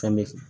Fɛn bɛ kɛ